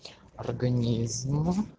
организм